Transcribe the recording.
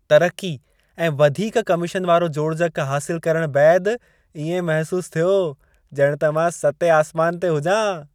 तरक़ी ऐं वधीक कमीशन वारो जोड़जक हासिलु करण बैदि इएं महसूसु थियो, ॼणु मां सतें आसमान ते हुजां।